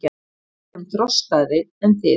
Við erum þroskaðri en þið.